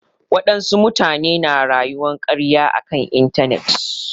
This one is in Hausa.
Wadansu mutane na rayuwar karya a kan intanet.